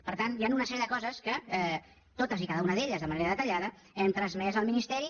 per tant hi han una sèrie de coses que totes i cada una d’elles de manera detallada hem transmès al ministeri